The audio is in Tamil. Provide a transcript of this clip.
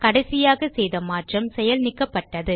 கடைசியாக செய்த மாற்றம் செயல் நீக்கப்பட்டது